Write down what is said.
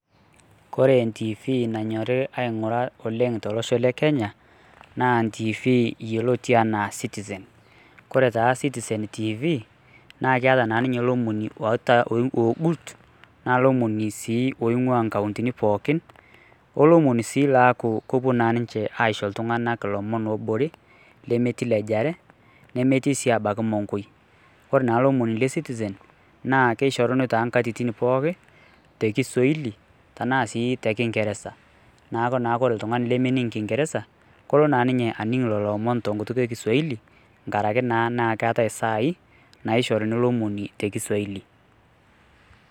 Kore e TV nanyori aing'ura oleng' tolosho le Kenya, naa ntiivi yioloti enaa Citizen. Kore taa Citizen TV, naa keeta naa ninye lomoni ogut, na lomoni sii oing'ua nkauntini pookin, olomoni sii laaku kopuo naa ninche aisho iltung'anak lomon lobore, lemetii lejare, nemetii si abaki monkoi. Kore naa lomoni le Citizen, naa kishoruni toonkatitin pookin, tekisuaili, tanaa sii tekingeresa. Naaku naa kore ltung'ani lemening' kingereza, kolo naa ninye aning' lolo omon tenkutuk ekisuaili, nkaraki naa na keetae sai, naishoruni lomoni tekisuaili.